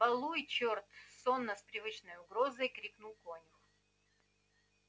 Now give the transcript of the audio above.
балуй чёрт сонно с привычной угрозой крикнул конюх